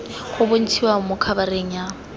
go bontshiwa mo khabareng ya